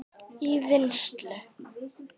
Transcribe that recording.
í vinnslu